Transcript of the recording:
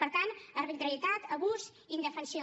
per tant arbitrarietat abús indefensió